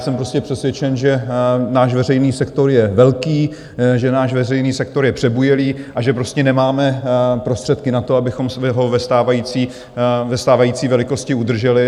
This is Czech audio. Jsem prostě přesvědčen, že náš veřejný sektor je velký, že náš veřejný sektor je přebujelý a že prostě nemáme prostředky na to, abychom ho ve stávající velikosti udrželi.